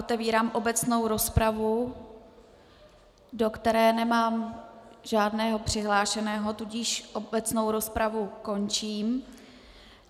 Otevírám obecnou rozpravu, do které nemám žádného přihlášeného, tudíž obecnou rozpravu končím.